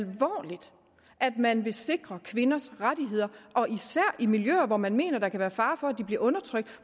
man vil sikre kvinders rettigheder og især i miljøer hvor man mener der kan være fare for at de bliver undertrykt